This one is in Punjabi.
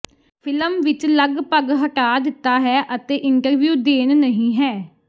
ਫਿਲਮ ਵਿਚ ਲਗਭਗ ਹਟਾ ਦਿੱਤਾ ਹੈ ਅਤੇ ਇੰਟਰਵਿਊ ਦੇਣ ਨਹੀ ਹੈ